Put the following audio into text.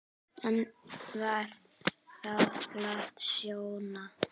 En var þakklát Sjóna.